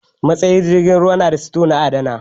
Matsayar jirgin ruwa na da sito na adana kaya